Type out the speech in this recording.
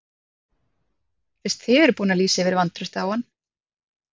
Fyrst þið eruð búin að lýsa yfir vantrausti á hann?